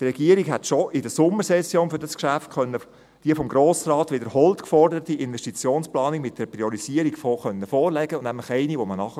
Die Regierung hätte schon in der Sommersession die vom Grossen Rat wiederholt geforderte Investitionsplanung mit der Priorisierung vorlegen können, nämlich eine, die man versteht.